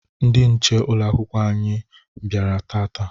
Ndị nche ụlọ akwụkwọ sekọndiri anyị bịara taata.